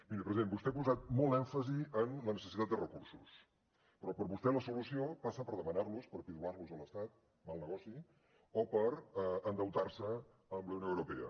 miri president vostè ha posat molt èmfasi en la necessitat de recursos però per vostè la solució passa per demanar los per pidolar los a l’estat mal negoci o per endeutar se amb la unió europea